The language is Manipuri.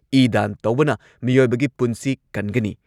ꯏ ꯗꯥꯟ ꯇꯧꯕꯅ ꯃꯤꯑꯣꯏꯕꯒꯤ ꯄꯨꯟꯁꯤ ꯀꯟꯒꯅꯤ ꯫